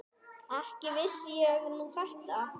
Ekki vissi ég nú þetta.